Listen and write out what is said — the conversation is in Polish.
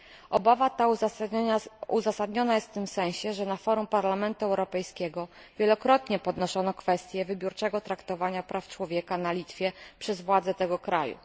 Obawa ta uzasadniona jest w tym sensie, że na forum Parlamentu Europejskiego wielokrotnie podnoszono kwestię wybiórczego traktowania praw człowieka na Litwie przez władze tego kraju.